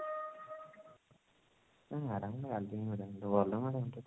ଟା ରାଗି madam ନୁହଁ ଭଲ madam ତ